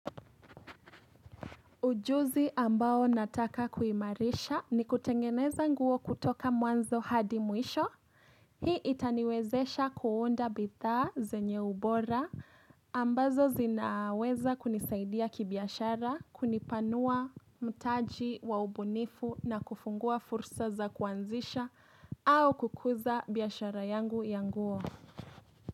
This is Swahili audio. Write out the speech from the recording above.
Ujuzi ambao nataka kuimarisha ni kutengeneza nguo kutoka mwanzo hadi mwisho. Hii itaniwezesha kuunda bidhaa zenye ubora ambazo zinaweza kunisaidia kibiashara kunipanua mtaji wa ubunifu na kufungua fursa za kuanzisha au kukuza biashara yangu ya nguo.